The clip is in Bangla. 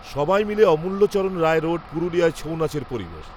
সবাই মিলে অমূল্যচরণ রায় রোড, পুরুলিয়ার ছৌ নাচের পরিবেশ